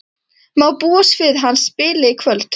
Má búast við að hann spili í kvöld?